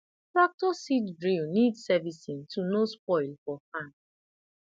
tractor seed drill need servicing to no spoil for farm